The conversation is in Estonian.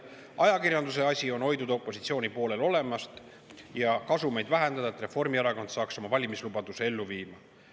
Ajakirjanduse asi on hoiduda opositsiooni poolel olemast ja kasumeid vähendada, et Reformierakond saaks oma valimislubaduse ellu viia.